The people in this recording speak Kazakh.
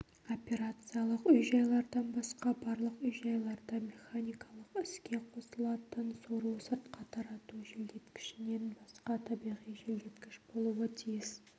операциялық үй-жайлардан басқа барлық үй-жайларда механикалық іске қосылатын сору-сыртқа тарату желдеткішінен басқа табиғи желдеткіш болуы тиіс